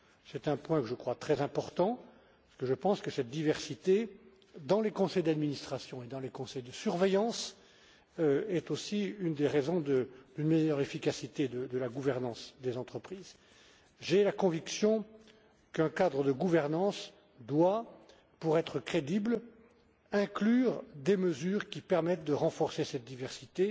C'est un point que je considère comme très important parce que je pense que cette diversité dans les conseils d'administration et dans les conseils de surveillance est aussi une des raisons d'une meilleure efficacité de la gouvernance des entreprises. J'ai la conviction qu'un cadre de gouvernance doit, pour être crédible, inclure des mesures qui permettent de renforcer cette diversité